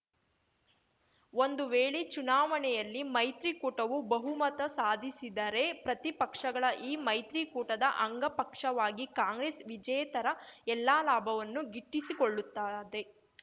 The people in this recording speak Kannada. ಒಂದು ವೇಳೆ ಚುನಾವಣೆಯಲ್ಲಿ ಮೈತ್ರಿಕೂಟವು ಬಹುಮತ ಸಾಧಿಸಿದರೆ ಪ್ರತಿಪಕ್ಷಗಳ ಈ ಮೈತ್ರಿಕೂಟದ ಅಂಗಪಕ್ಷವಾಗಿ ಕಾಂಗ್ರೆಸ್‌ ವಿಜೇತರ ಎಲ್ಲಾ ಲಾಭವನ್ನು ಗಿಟ್ಟಿಸಿಕೊಳ್ಳುತ್ತದೆ